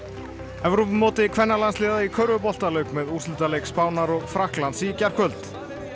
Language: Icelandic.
Evrópumóti kvennalandsliða í körfubolta lauk með úrslitaleik Spánar og Frakklands í gærkvöld